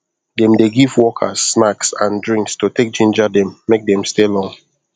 dem dey give workers snacks and drinks to take ginger them make them stay long